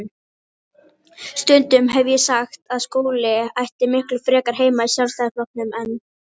Stundum hef ég sagt að Skúli ætti miklu frekar heima í Sjálfstæðisflokknum en